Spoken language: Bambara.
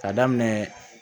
Ka daminɛ